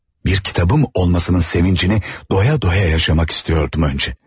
Bir kitabım olmasının sevincini doya doya yaşamak istiyordum önce.